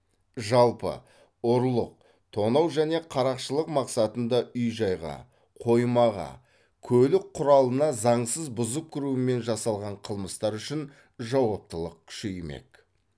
жалпы ұрлық тонау және қарақшылық мақсатында үй жайға қоймаға көлік құралына заңсыз бұзып кірумен жасалған қылмыстар үшін жауаптылық күшеймек